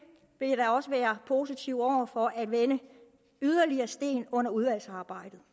vil jeg da også være positiv over for at vende yderligere sten under udvalgsarbejdet